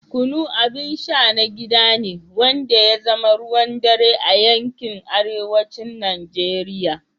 Kunu abin sha na gida ne wanda ya zama ruwan dare a yankin arewacin Najeriya.